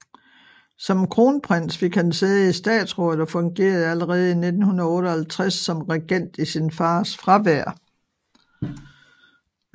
Som kronprins fik han sæde i statsrådet og fungerede allerede i 1958 som regent i sin fars fravær